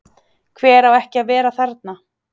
Hver á ekki að vera þarna?